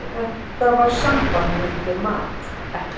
Þetta var samband mitt við mat, ekkert.